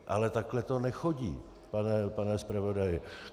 Ale takhle to nechodí, pane zpravodaji.